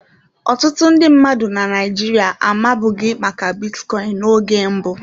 Ọtụtụ ndị mmadụ na Naịjirịa amabughị maka bitcoin n'oge mbụ.